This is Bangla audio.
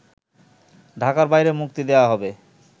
ঢাকার বাইরে মুক্তি দেওয়া হবে